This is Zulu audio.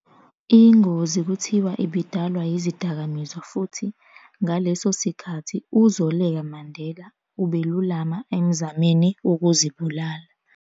Ingozi kuthiwa ibidalwa yizidakamizwa futhi, ngaleso sikhathi, uZoleka Mandela ubelulama emzameni wokuzibulala.